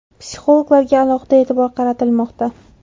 Psixologlarga alohida e’tibor qaratilmoqda.